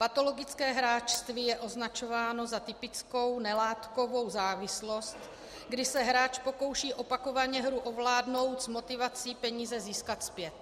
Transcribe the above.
Patologické hráčství je označováno za typickou nelátkovou závislost, kdy se hráč pokouší opakovaně hru ovládnout s motivací peníze získat zpět.